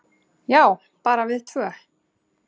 """Já, bara við tvö."""